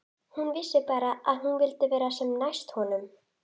Gott dæmi er Sigalda við Tungnaá.